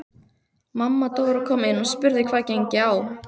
Mamma Dóra kom inn og spurði hvað gengi á.